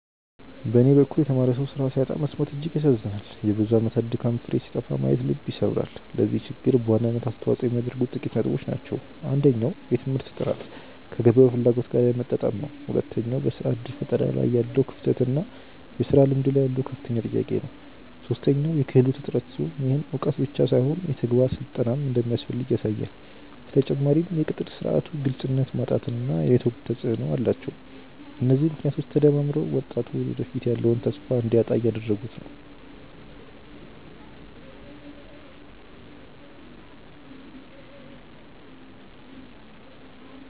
በኔ በኩል የተማረ ሰው ስራ ሲያጣ መሰማት እጅግ ያሳዝናል የብዙ አመታት ድካም ፍሬ ሲጠፋ ማየት ልብ ይሰብራል። ለዚህ ችግር በዋናነት አስተዋጽኦ የሚያደርጉት ጥቂት ነጥቦች ናቸው። አንደኛው የትምህርት ጥራት ከገበያው ፍላጎት ጋር ያለመጣጣም ነው። ሁለተኛው በስራ እድል ፈጠራ ላይ ያለው ክፍተት እና የስራ ልምድ ላይ ያለው ከፍተኛ ጥያቄ ነው። ሶስተኛው የክህሎት እጥረት ሲሆን፣ ይህም እውቀት ብቻ ሳይሆን የተግባር ስልጠናም እንደሚያስፈልግ ያሳያል። በተጨማሪም የቅጥር ስርዓቱ ግልጽነት ማጣት እና የኔትወርክ ተፅእኖ ተፅእኖ አላቸው። እነዚህ ምክንያቶች ተደማምረው ወጣቱ ለወደፊቱ ያለውን ተስፋ እንዲያጣ እያደረጉት ነው።